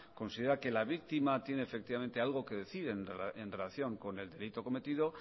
considera que la víctima tiene efectivamente algo que decir en relación con el delito cometido